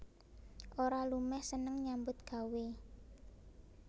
Ora lumeh seneng nyambut gawé